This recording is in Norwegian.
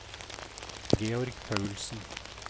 Georg Paulsen